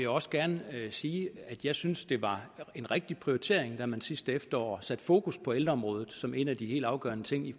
også gerne sige at jeg synes det var en rigtig prioritering da man sidste efterår satte fokus på ældreområdet som en af de helt afgørende ting i